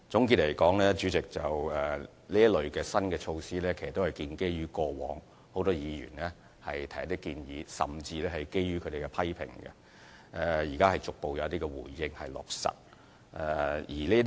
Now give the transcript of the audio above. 代理主席，總的來說，這類新措施都是建基於很多議員以往提出的建議，甚至是他們的批評，現在得以逐步落實。